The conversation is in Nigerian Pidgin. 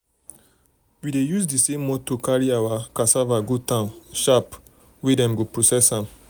we dey use the same motor carry our carry our cassava go town sharp sharp um where dem go process am.